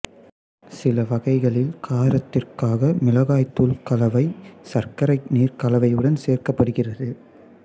சில வகைகளில் காரத்திற்காக மிளகாய் தூள் கலவை சர்க்கரை நீர் கலவையுடன் சேர்க்கப்படுகிறது